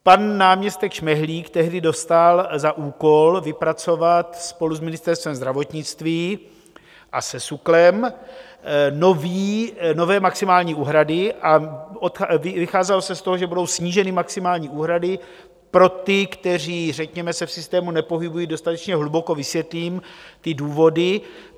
Pan náměstek Šmehlík tehdy dostal za úkol vypracovat spolu s Ministerstvem zdravotnictví a se SÚKLem nové maximální úhrady a vycházelo se z toho, že budou sníženy maximální úhrady pro ty, kteří řekněme se v systému nepohybují dostatečně hluboko - vysvětlím ty důvody.